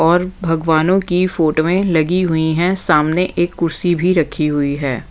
और भगवानों की फोटोवें लगी हुई हैं सामने एक कुर्सी भी रखी हुई है।